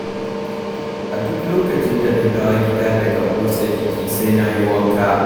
A duk lokacin da na dawo gida daga motsa jiki sai na yi wanka.